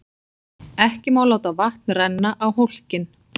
Ekki má láta vatn renna á hólkinn.